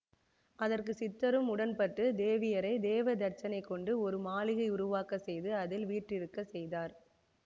அதற்கு சித்தரும் உடன்பட்டுத் தேவியரை தேவதச்சனைக் கொண்டு ஒரு மாளிகை உருவாக்கச் செய்து அதில் வீற்றிருக்கச் செய்தார்